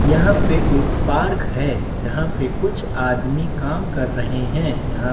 यहाँ पे एक पार्क है जहाँ पे कुछ आदमी काम कर रहे है यहाँ --